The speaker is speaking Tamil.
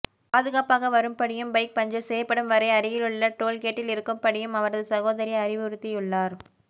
பாதுகாப்பாக வரும்படியும் பைக் பஞ்சர் செய்யப்படும் வரை அருகிலுள்ள டோல்கேட்டில் இருக்கும்படியும் அவரது சகோதரி அறிவுறுத்தியுள்ளார்